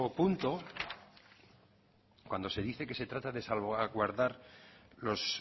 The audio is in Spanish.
punto cuando se dice que se trata de salvaguardar los